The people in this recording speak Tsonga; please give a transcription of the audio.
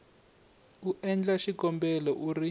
u endla xikombelo u ri